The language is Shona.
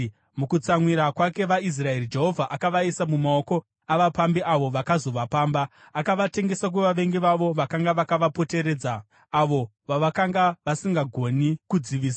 Mukutsamwira kwake vaIsraeri, Jehovha akavaisa mumaoko avapambi avo vakazovapamba. Akavatengesa kuvavengi vavo vakanga vakavapoteredza, avo vavakanga vasisagoni kudzivisa.